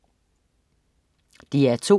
DR2: